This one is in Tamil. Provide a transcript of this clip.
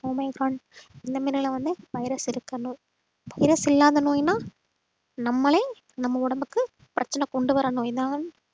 omicron இந்த மாதிரியெல்லாம் வந்து virus இருக்கணும் virus இல்லாத நோய்ன்னா நம்மளே நம்ம உடம்புக்கு பிரச்சனை கொண்டு வரணும்